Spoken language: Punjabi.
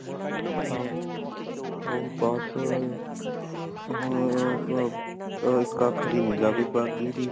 ਹਾਂ ਓ ਬਸ ਫੇਰ ਉਹਦਾ ਇਕ ਅੱਖ ਦੀ ਨਿਗ੍ਹਾ ਬੀ ਬਾਗ ਗੀ ਤੀ